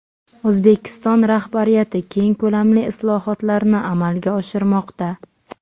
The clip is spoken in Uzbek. O‘zbekiston rahbariyati keng ko‘lamli islohotlarni amalga oshirmoqda.